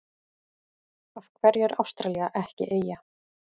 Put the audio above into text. Af hverju er Ástralía ekki eyja?